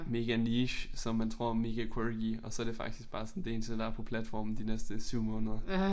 Mega niche som man tror er mega quirky og så det faktisk bare sådan det eneste der er på platformen de næste 7 måneder